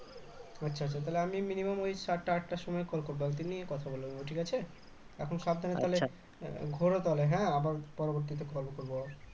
আচ্ছা আচ্ছা তাহলে আমি minimum ওই সাতটা আটটার সময় call করবো . নিয়ে কথা বলবো ঠিক আছে এখন সাবধানে তাহলে ঘোর তাহলে হ্যাঁ আবার পরবর্তীতে call করবো